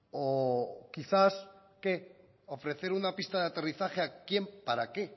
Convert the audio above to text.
o quizás qué ofrecer una pista de aterrizaje a quién para qué